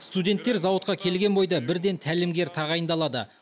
студенттер зауытқа келген бойда бірден тәлімгер тағайындалады